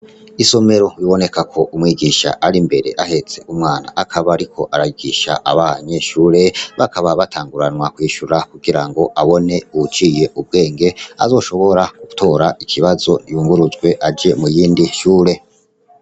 Isomero biboneka ko umwigisha ari imbere ahetse umwana akaba ariko arigisha abanyeshure bakaba batanguranwa kwishura kugirango abone uwuciye ubwenge azoshobora gutora ikibazo yunguruzwe aje mu yindi shure.